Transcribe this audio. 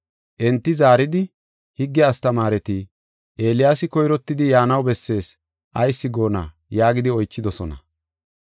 Enti zaaridi, “Higge astamaareti, ‘Eeliyaasi koyrottidi yaanaw bessees’ ayis goonna?” yaagidi oychidosona.